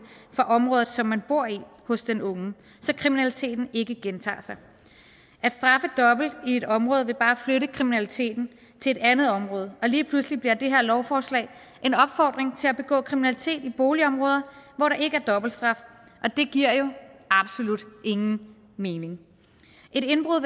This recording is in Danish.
for området som man bor i hos den unge så kriminaliteten ikke gentager sig at straffe dobbelt i et område vil bare flytte kriminaliteten til et andet område og lige pludselig bliver det her lovforslag en opfordring til at begå kriminalitet i boligområder hvor der ikke er dobbeltstraf og det giver jo absolut ingen mening et indbrud